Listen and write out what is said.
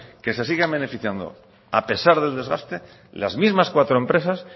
que se sigan beneficiando a pesar del desgaste las mismas cuatro empresas